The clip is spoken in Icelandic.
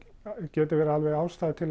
gæti verið ástæða til